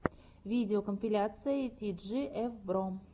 видеокомпиляция ти джи эф бро